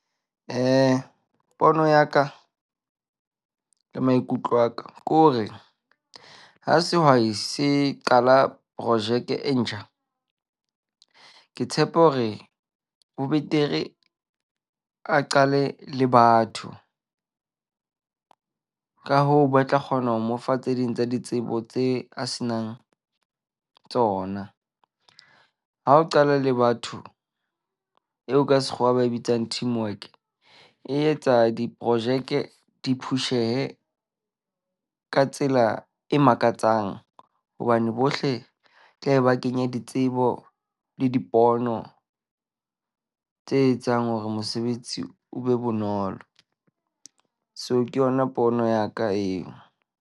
, Pono ya ka le maikutlo a ka ke hore ha sehwai se qala projeke e ntjha. Ke tshepa hore ho betere a qale le batho. Ka hoo, ba tla kgona ho mo fa tse ding tsa ditsebo tse a se nang tsona. Ha o qala le batho eo ka sekgowa ba e bitsang teamwork. E etsa diporojeke di push-ehe ka tsela e makatsang hobane bohle tla be ba kenya ditsebo le dipono tse etsang hore mosebetsi o be bonolo. So ke yona pono ya ka eo.